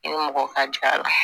Ni mɔgɔ ka jaa